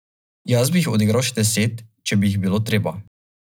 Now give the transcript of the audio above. Toda to se na nek način dogaja tudi pri nas.